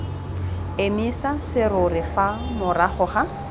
emisa serori fa morago ga